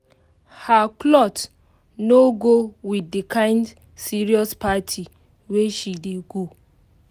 her um cloth no go with the kind serious party wey she dey go